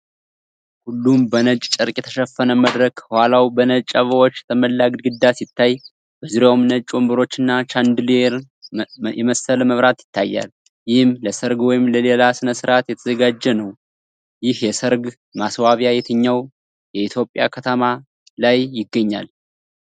ሁሉም በነጭ ጨርቅ የተሸፈነ መድረክ፣ ከኋላው በነጭ አበባዎች የተሞላ ግድግዳ ሲታይ፣ በዙሪያውም ነጭ ወንበሮችና ቻንደሊየር የመሰለ መብራት ይታያል፤ ይህም ለሠርግ ወይም ለሌላ ሥነ-ሥርዓት የተዘጋጀ ነው። ይህ የሰርግ ማስዋቢያ የትኛው የኢትዮጵያ ከተማ ላይ ይገኛል?